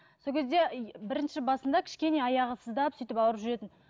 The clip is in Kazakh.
сол кезде и бірінші басында кішкене аяғы сыздап сөйтіп ауырып жүретін